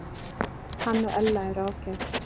Hann og Ella eru ágæt.